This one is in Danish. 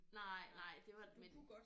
Nej nej det var men